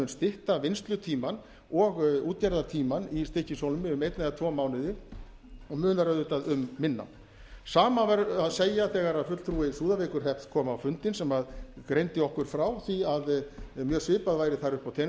stytta vinnslutímann og útgerðartímann í stykkishólmi um einn eða tvo mánuði og munar auðvitað um minna sama verður að segja þegar fulltrúi súðavíkurhrepps kom á fundinn sem greindi okkur frá því að mjög svipað væri þar uppi á teningnum þar